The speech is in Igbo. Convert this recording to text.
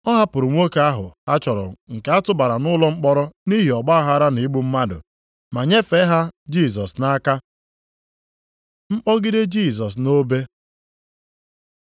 Ọ hapụrụ nwoke ahụ ha chọrọ nke a tụbara nʼụlọ mkpọrọ nʼihi ọgbaaghara na igbu mmadụ, ma nyefee ha Jisọs nʼaka. Mkpọgide Jisọs nʼobe